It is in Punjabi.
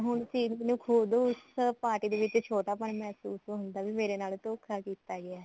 ਹੁਣ ਚਿਰੀ ਨੂੰ ਖੁਦ ਉਸ party ਦੇ ਵਿੱਚ ਛੋਟਾ ਪੰਨ ਮਹਿਸੂਸ ਹੁੰਦਾ ਵੀ ਮੇਰੇ ਨਾਲ ਧੋਖਾ ਕੀਤਾ ਗਿਆ